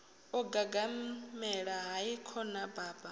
o gagaḓela hai khona baba